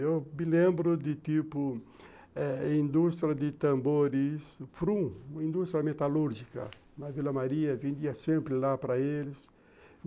Eu me lembro de, tipo, eh indústria de tambores, Frum, indústria metalúrgica, na Vila Maria, vendia sempre lá para eles.